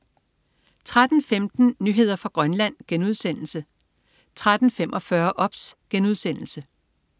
13.15 Nyheder fra Grønland* 13.45 OBS*